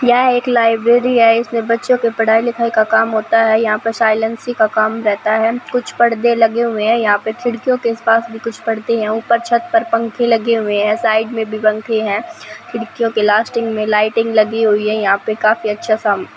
यह एक लाइब्रेरी हैं इसमें बच्चों के पढ़ाई लिखाई का काम होता हैं यहाॅं पे साइलेंसी का काम रहता हैं कुछ पड़दे लगे हुए हैं यहाॅं पे खिड़कीयों के आस पास भी कुछ पड़दे हैं ऊपर छत पर पंखे लगे हुए हैं साइड में भी पंखे हैं खिड़कियों के लास्टिंग में लाईटिंग लगी हुई हैं यहाॅं पे काफी अच्छा सा --